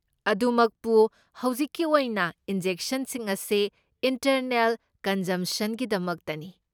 ꯑꯗꯨꯃꯛꯄꯨ, ꯍꯧꯖꯤꯛꯀꯤ ꯑꯣꯏꯅ, ꯏꯟꯖꯦꯛꯁꯟꯁꯤꯡ ꯑꯁꯤ ꯏꯟꯇꯔꯅꯦꯜ ꯀꯟꯖꯝꯁꯟꯒꯤꯗꯃꯛꯇꯅꯤ꯫